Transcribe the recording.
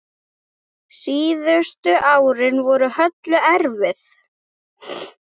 Síðustu árin voru Höllu erfið.